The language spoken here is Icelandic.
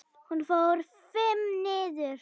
Hún fór FIMM niður.